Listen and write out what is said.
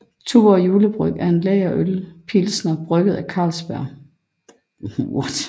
Tuborg Julebryg er en lagerøl pilsner brygget af Carlsberg